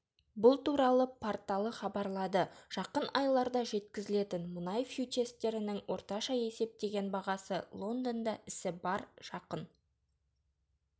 бұл туралы порталы хабарлады жақын айларда жеткізілетін мұнай фьючерстерінің орташа есептеген бағасы лондонда ісі барр жақын